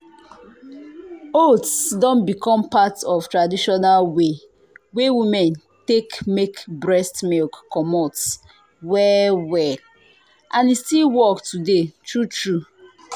oats don become part of traditional way wey women take make breast milk comot well well and e still work today true true.